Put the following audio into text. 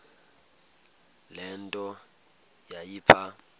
le nto yayipha